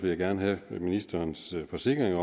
jeg gerne have ministerens forsikring